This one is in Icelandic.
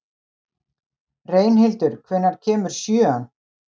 Reynhildur, hvenær kemur sjöan?